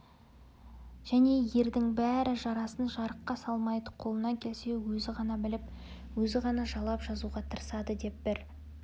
және ердің бәрі жарасын жарыққа салмайды қолынан келсе өзі ғана біліп өзі ғана жалап жазуға тырысады деп бір